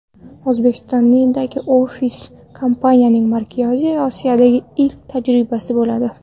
O‘zbekistondagi ofis kompaniyaning Markaziy Osiyodagi ilk tajribasi bo‘ladi.